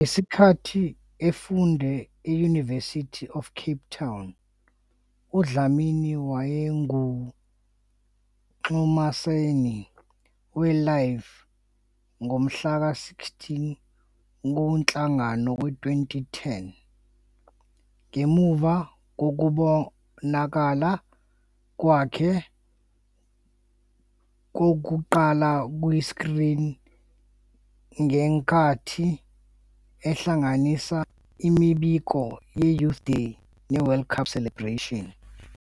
Ngesikhathi efunda e-University of Cape Town, uDlamini wayengumxhumanisi we- LIVE ngomhlaka 16 kuNhlangulana 2010, ngemuva kokubonakala kwakhe kokuqala kuyi-screen ngenkathi ehlanganisa imibukiso ye- "Youth Day" ne- "World Cup celebrations".